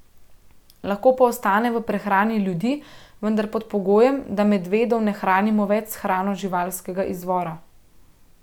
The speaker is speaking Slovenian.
Lahko pa ostane v prehrani ljudi, vendar pod pogojem, da medvedov ne hranimo več s hrano živalskega izvora.